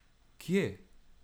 Kje?